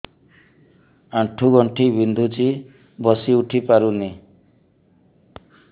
ଆଣ୍ଠୁ ଗଣ୍ଠି ବିନ୍ଧୁଛି ବସିଉଠି ପାରୁନି